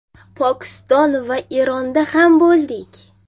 Pokiston va Eronda ham bo‘ldik.